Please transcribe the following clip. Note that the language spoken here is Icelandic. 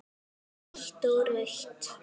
Hvítt og rautt.